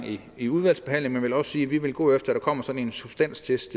i udvalgsbehandlingen vil også sige at vi vil gå efter at der kommer sådan en substanstest